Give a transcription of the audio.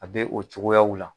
A bɛ o cogoyaw la